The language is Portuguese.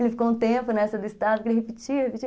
Ele ficou um tempo nessa do estado, que ele repetia, repetia.